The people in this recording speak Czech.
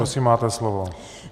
Prosím, máte slovo.